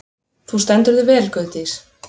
Þú stendur þig vel, Guðdís!